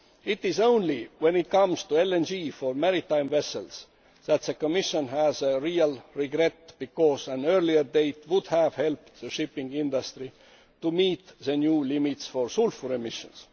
It is only when it comes to LNG for maritime vessels that the Commission has a real regret, because an earlier date would have helped the shipping industry to meet the new limits for sulphur emissions.